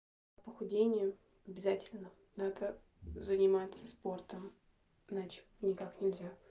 похудение обязательно надо заниматься спортом иначе никак нельзя